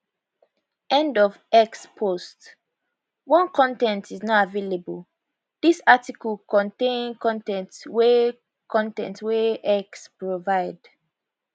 end of x post 1 con ten t is not available dis article contain con ten t wey con ten t wey x provide